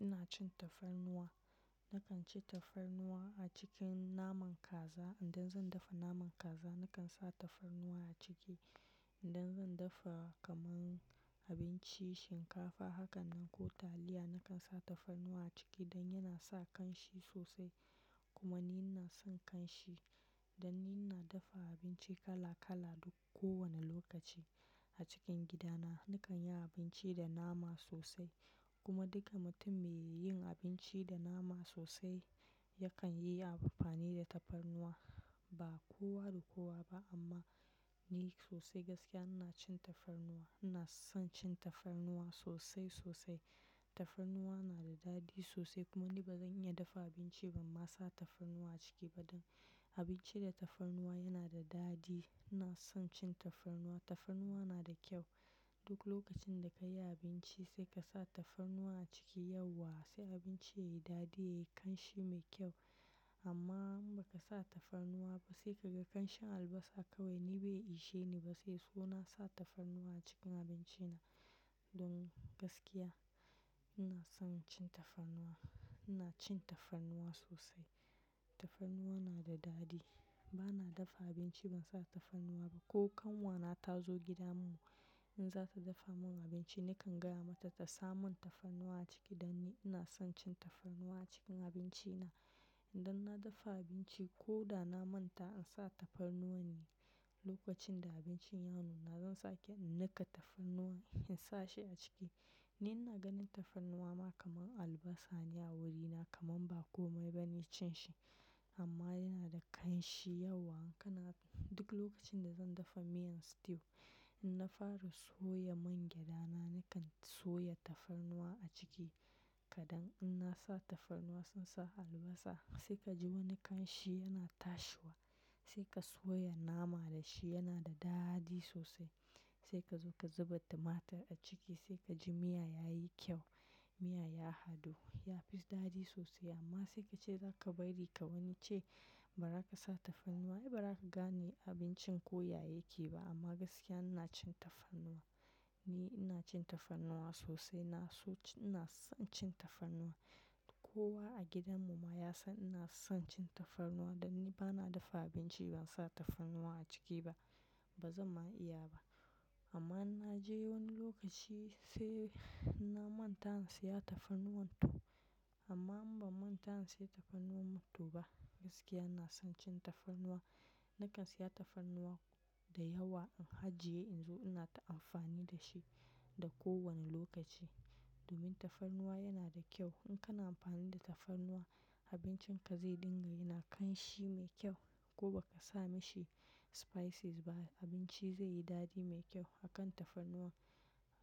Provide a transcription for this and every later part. Ina cin tafarnuwa. Nakan ci tafarnuwa a cikin naman kaza, idan zan dafa naman kaza nakan sa tafarnuwa a ciki. Idan zan dafa kaman abinci shinkafa hakanan ko taliya nakan sa tafarnuwa a ciki don yana sa ƙanshi sosai kuma ni ina son ƙanshi. Dan ni ina dafa abinci kala kala duk ko wani lokaci a cikin gida na. Nakan yi abinci da nama sosai kuma duka mutum me yin abinci da nama sosai yakan yi amfani da tafarnuwa. Ba kowa da kowa ba amma ni sosai gaskiya ina cin tafarnuwa. Ina son cin tafarnuwa sosai sosai. Tafarnuwa na da dadi sosai kuma ni bazan iya dafa abinci banma sa tafarnuwa a ciki ba don abinci da tafarnuwa yana da dadi. Ina son cin tafarnuwa. Tafarnuwa na da kyau. Duk lokacin da ka yi abinci sai ka sa tafarnuwa a ciki yauwa sai abinci yayi dadi yayi ƙanshi me kyau. Amma in baka sa tafarnuwa ba sai kaga ƙanshin albasa kawai ni bai ishe ni ba sai so na sa tafarnuwa a cikin abinci na. Don gaskiya ina son cin tafarnuwa. Ina cin tafarnuwa sosai. Tafarnuwa na da dadi. Bana dafa abinci ban sa tafarnuwa ba. Ko kanwa na ta zo gida mu in za ta dafa mun abinci nakan gaya mata ta sa mun tafarnuwa a ciki dan ni ina son cin tafarnuwa a cikin abinci na. Idan na dafa abinci ko da na manta in sa tafarnuwa ne lokacin da abincin ya nuna zan sake in nika tafarnuwan in sa shi a ciki. Ni ina ganin tafarnuwa ma kamar albasa ne a wurina kamar ba komai bane cin shi amma yana da ƙanshi yauwa. In kana duk lokacin da zan dafa miyan stew in na fara soya mangyaɗa na nakan soya tafarnuwa a ciki kadan. In na sa tafarnuwa sun sa albasa sai ka ji wani ƙanshi yana tashiwa. Sai ka soya nama da shi yana da dadi sosai. Sai ka zo ka zuba tumatir a ciki sai ka ji miya yayi kyau. Miyan ya hadu ya fi dadi sosai amma sai kace zaka bari ka wani ce ba za ka sa tafarnuwa ai ba ra ka gane abincin ko yaya yake ba amma gaskiya ina cin tafarnuwa. Ni ina cin tafarnuwa sosai. Na so ci-- ina son cin tafarnuwa. Kowa a gidan mu ma ya san ina son cin tafarnuwa dan ni bana dafa abinci ban sa tafarnuwa a ciki ba. Bazan ma iya ba amma in naje wani lokaci sai na manta in siya tafarnuwa to. Amma in ba manta in siya tafarnuwa mu to ba gaskiya ina son cin tafarnuwa. Nakan siya tafarnuwa da yawa in hajiye in zo ina ta amfani da shi da ko wani lokaci domin tafarnuwa yana da kyau. In kana amfani da tafarnuwa abincin ka zai dinga yana ƙanshi me kyau ko baka sa mashi spices ba abinci zai yi dadi me kyau. Hakan tafarnuwa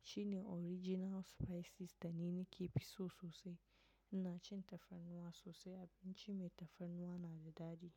shine original spices da ni nake fisso sosai. Ina cin tafarnuwa sosai abinci mai tafarnuwa na da dadi.